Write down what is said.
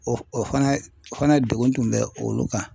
O o fana ye o fana degun tun bɛ olu kan.